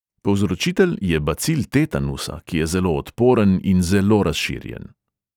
Povzročitelj je bacil tetanusa, ki je zelo odporen in zelo razširjen.